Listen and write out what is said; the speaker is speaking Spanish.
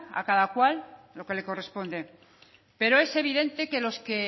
a cada cual lo que le corresponde pero es evidente que los que